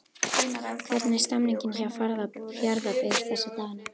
Hvernig er stemmningin hjá Fjarðabyggð þessa dagana?